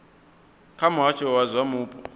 kha muhasho wa zwa mupo